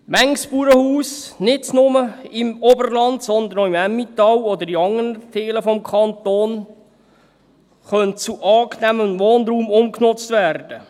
Manches Bauernhaus – nicht nur im Oberland, sondern auch im Emmental oder in anderen Teilen des Kantons – könnte zu angenehmem Wohnraum umgenutzt werden.